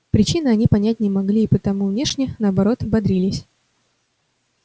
причины они понять не могли и потому внешне наоборот бодрились